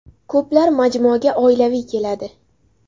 Ko‘plar majmuaga oilaviy keladi.